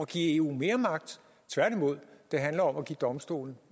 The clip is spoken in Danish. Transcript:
give eu mere magt tværtimod det handler om at give domstolen